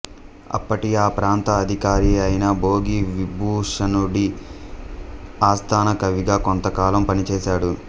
అప్పటి ఆ ప్రాంత అధికారి అయిన భోగి విభూషణుడి ఆస్థాన కవిగా కొంతకాలం పనిచేశాడు